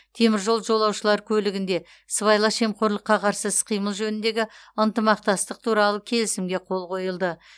теміржол жолаушылар көлігінде сыбайлас жемқорлыққа қарсы іс қимыл жөніндегі ынтымақтастық туралы келісімге қол қойылды